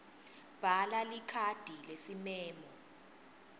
bhala likhadi lesimemo